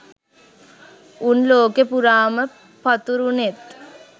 උන් ලෝකේ පුරාම පතුරුනෙත්